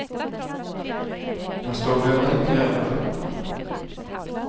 Fast då behövde han inte göra det själv.